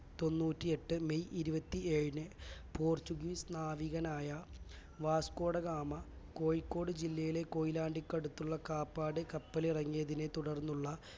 തൊണ്ണൂറ്റിയെട്ട് May ഇരുപത്തി ഏഴിന് portuguese നാവികനായ വാസ്കോ ഡ ഗാമ കോഴിക്കോട് ജില്ലയിലെ കൊയിലാണ്ടിക്കടുത്തുള്ള കാപ്പാട് കപ്പലിറങ്ങിയതിനെ തുടർന്നുള്ള